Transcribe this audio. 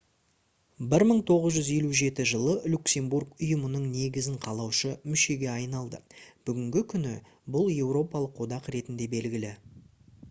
1957 жылы люксембург ұйымның негізін қалаушы мүшеге айналды бүгінгі күні бұл еуропалық одақ ретінде белгілі